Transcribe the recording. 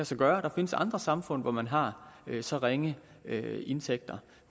sig gøre og der findes andre samfund hvor man har så ringe indtægter